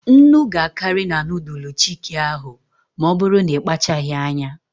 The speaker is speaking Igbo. Nnu ga-akarị na nudul chiki ahụ ma ọbụrụ na ịkpachaghị anya.